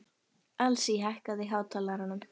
Elsí, hækkaðu í hátalaranum.